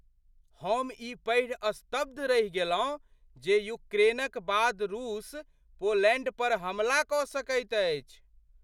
हम ई पढ़ि स्तब्ध रहि गेलहुँ जे यूक्रेनक बाद रूस पोलैण्ड पर हमला कऽ सकैत अछि।